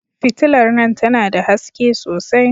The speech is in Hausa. Fitilar nan tana da haske sosai.